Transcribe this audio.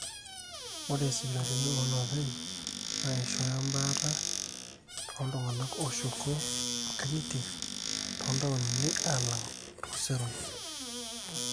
ore isipitalini ooloopeny naa eishooyo baata tooltung'anak ooshuko nkang'itie toontaoni alang too seroi